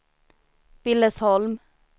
Billesholm